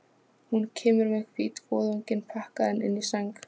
Hún kemur með hvítvoðunginn pakkaðan inn í sæng.